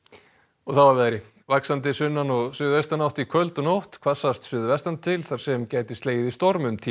og þá að veðri vaxandi sunnan og suðaustanátt í kvöld og nótt hvassast suðvestan til þar sem gæti slegið í storm um tíma